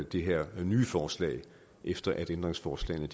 det her nye forslag efter at ændringsforslagene